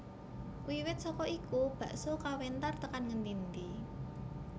Wiwit saka iku bakso kawentar tekan ngendi endi